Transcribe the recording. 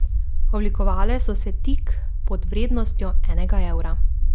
Oblikovale so se tik pod vrednostjo enega evra.